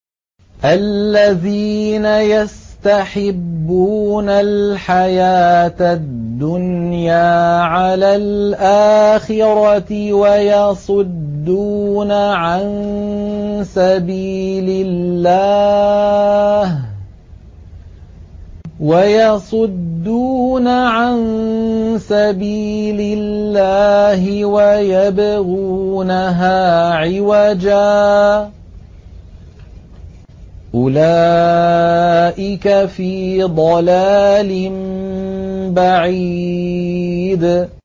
الَّذِينَ يَسْتَحِبُّونَ الْحَيَاةَ الدُّنْيَا عَلَى الْآخِرَةِ وَيَصُدُّونَ عَن سَبِيلِ اللَّهِ وَيَبْغُونَهَا عِوَجًا ۚ أُولَٰئِكَ فِي ضَلَالٍ بَعِيدٍ